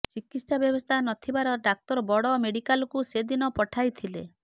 ଚିକିତ୍ସା ବ୍ୟବସ୍ଥା ନଥିବାର ଡାକ୍ତର ବଡ଼ ମେଡିକାଲକୁ ସେଦିନ ପଠାଇଥିଲେ